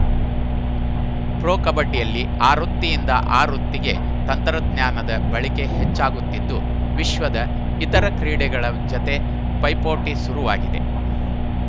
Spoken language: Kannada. ಪ್ರೊ ಕಬಡ್ಡಿಯಲ್ಲಿ ಆವೃತ್ತಿಯಿಂದ ಆವೃತ್ತಿಗೆ ತಂತ್ರಜ್ಞಾನದ ಬಳಕೆ ಹೆಚ್ಚಾಗುತ್ತಿದ್ದು ವಿಶ್ವದ ಇತರ ಕ್ರೀಡೆಗಳ ಜತೆ ಪೈಪೋಟಿ ಶುರುವಾಗಿದೆ